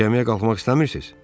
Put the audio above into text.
"Gəmiyə qalxmaq istəmisiz?"